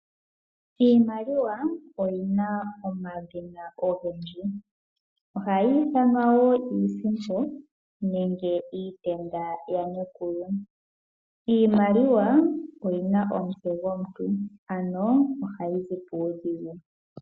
Iimaliwa oyina omadhina ogendji ohayi ithanwa wo iisimpo nenge iitenda yaNekulu. Iimaliwa oyina omutse gwomuntu, ano ohayi zi puudhigu.